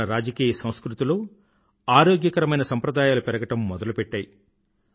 మన రాజకీయ సంస్కృతిలో ఆరోగ్యకరమైన సంప్రదాయాలు పెరగడం మొదలుపెట్టాయి